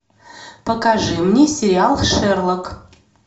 покажи мне сериал шерлок